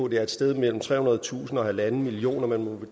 det er et sted mellem trehundredetusind og halvanden million man må